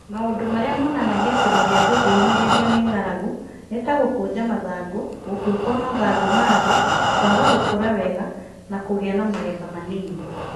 Maũndũ marĩa monanagia atĩ mũhĩa ndũngĩhinyĩrĩrio nĩ ng'aragu nĩ ta gũkũnja mathangũ, gũkua kwa mathangũ ma thĩ (senescence), kwaga gũkũra wega, na kũgĩa na magetha manini.